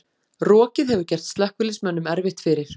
Rokið hefur gert slökkviliðsmönnum erfitt fyrir